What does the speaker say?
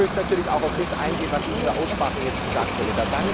Ich möchte natürlich auch auf das eingehen, was in dieser Aussprache gesagt wurde.